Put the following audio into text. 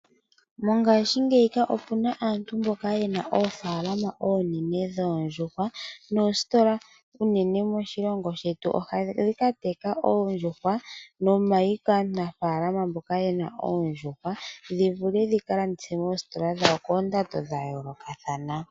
Mongaashingeyi opuna aantu mboka yena oofaalama oonene dhoondjuuhwa. Noositola unene moshilongo shetu ohadhi ka teka oondjuhwa nomayi kaanafaalama mboka yena oondjuhwa dhi vule ka landithwe moositola dhawo koondando dha yoolokathana.